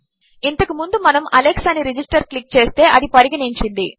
ఇంతకుముందుమనము Alex అని register క్లిక్చేస్తే అదిపరిగణించింది